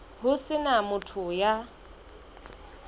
ho se na motho ya